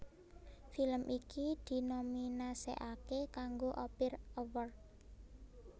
Film iki dinominasèkaké kanggo Ophir Awards